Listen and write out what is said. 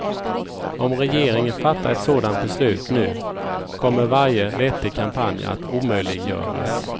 Om regeringen fattar ett sådant beslut nu, kommer varje vettig kampanj att omöjliggöras.